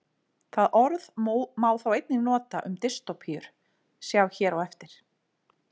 Það orð má þó einnig nota um dystópíur, sjá hér á eftir.